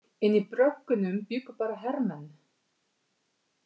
En í bröggunum bjuggu bara hermenn.